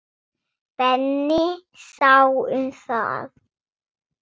Benni sá um það.